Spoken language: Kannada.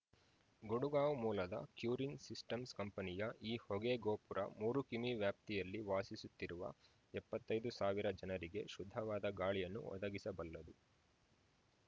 ಗುಡಗಾಂವ್‌ ಮೂಲದ ಕ್ಯುರಿನ್‌ ಸಿಸ್ಟಮ್ಸ್‌ ಕಂಪನಿಯ ಈ ಹೊಗೆ ಗೋಪುರ ಮೂರು ಕಿಮೀವ್ಯಾಪ್ತಿಯಲ್ಲಿ ವಾಸಿಸುತ್ತಿರುವ ಎಪ್ಪತೈ ದು ಸಾವಿರ ಜನರಿಗೆ ಶುದ್ಧವಾದ ಗಾಳಿಯನ್ನು ಒದಗಿಸಬಲ್ಲದು